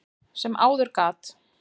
sem áður gat.